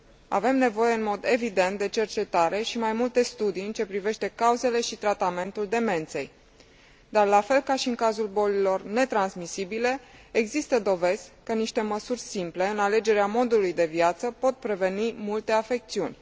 Avem nevoie, în mod evident, de cercetare și mai multe studii în ce privește cauzele și tratamentul demenței, dar, la fel ca și în cazul bolilor netransmisibile, există dovezi că niște măsuri simple în alegerea modului de viață pot preveni multe afecțiuni.